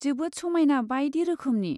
जोबोद समायना बायदि रोखोमनि।